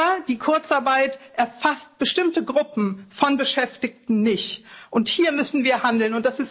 Aber die Kurzarbeit erfasst bestimmte Gruppen von Beschäftigten nicht, und hier müssen wir handeln.